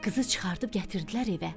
Qızı çıxarıb gətirdilər evə.